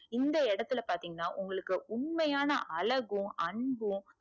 இந்த இடத்துல பாத்திங்கனா உங்களுக்கு உண்மையான அழகும் அன்பும்